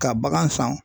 Ka bagan san